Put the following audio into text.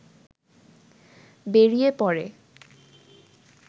বেরিয়ে পড়ে